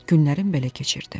Günlərim belə keçirdi.